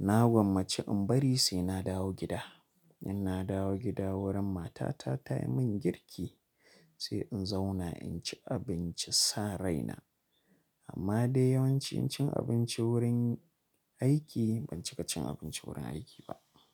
Na gwammaci in bari sai na dawo gida. Inna dawo gida wurin matata ta yi min girki sai in zauna in ci abinci san rai na. Amma dai yawanci cin abinci wurin aiki ban cika cin abinci wurin aiki ba.